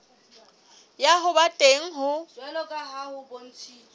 ya ho ba teng ho